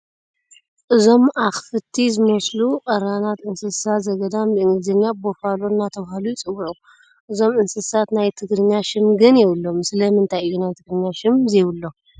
እዞም ኣኽፍቲ ዝመስሉ ቀራናት እንስሳ ዘገዳም ብእንግሊዝኛ ቡፋሎ እናተባህሉ ይፅዋዑ፡፡ እዞም እንስሳት ናይ ትግርኛ ሽም ግን የብሎምን፡፡ ስለምንታይ እዩ ናይ ትግርኛ ሽም ዘይብሎም?